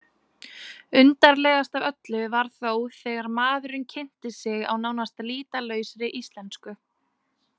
Undarlegast af öllu var þó þegar maðurinn kynnti sig á nánast lýtalausri íslensku.